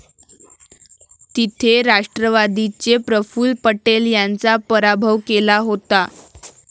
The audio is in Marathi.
तिथे राष्ट्रवादीचे प्रफुल्ल पटेल यांचा पराभव केला होता.